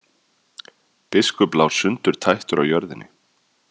Biskup lá sundurtættur á jörðinni.